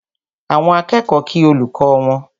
Àwọn akẹ́kọ̀ọ́ kí olùkọ́ wọn